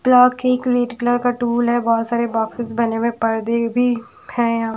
colour का tool है बहोत सारे बॉक्सेस बने में पर्दे भी है यहां--